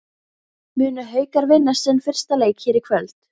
Munu Haukar vinna sinn fyrsta leik hér í kvöld?